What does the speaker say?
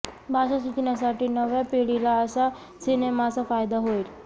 भाषा शिकण्यासाठी नव्या पीढीला असा सिनेमाचा फायदा होईल